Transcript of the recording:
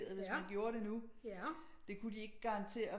Hvis man gjorde det nu det kunne de ikke garantere